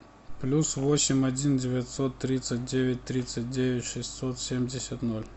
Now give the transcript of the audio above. плюс восемь один девятьсот тридцать девять тридцать девять шестьсот семьдесят ноль